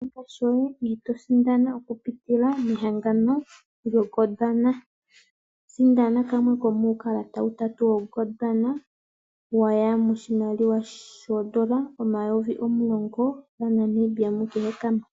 Shi ninga shoye e to sindana okupitila mehangano lyoGondwana. Sindana kamwe komuukalata utatu woGondwana waya moshimaliwa shoondola omayovi omulongo gaNamibia mu kehe kamwe.